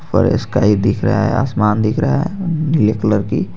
ऊपर ईस्काई दिख रहा है। आसमान दिख रहा है नीले कलर की--